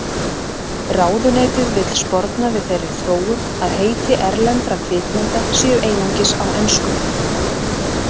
Ráðuneytið vill sporna við þeirri þróun að heiti erlendra kvikmynda séu einugis á ensku.